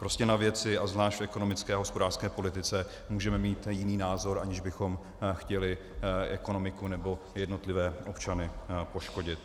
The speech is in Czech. Prostě na věci, a zvláště v ekonomické a hospodářské politice, můžeme mít jiný názor, aniž bychom chtěli ekonomiku nebo jednotlivé občany poškodit.